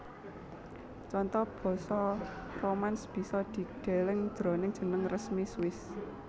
Conto basa Romansch bisa dideleng jroning jeneng resmi Swiss